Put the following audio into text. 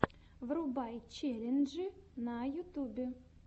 врубай челленджи на ютубе